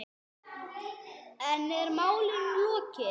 En er málinu lokið?